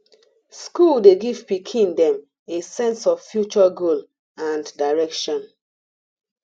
school dey give pikin them a sense of future goal and direction